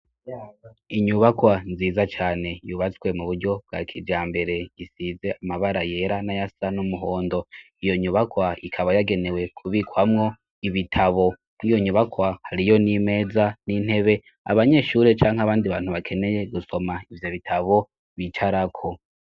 Inyubakwa nziza cane yubatswe mu buryo bwa kijambere isize amabara yera n'ayasa n'umuhondo, iyo nyubakwa ikaba yagenewe kubikwamwo ibitabo mur'iyo nyubakwa hariyo n'imeza, n'intebe abanyeshuri canke abandi bantu bakeneye gusoma ivyo bitabo bicarako.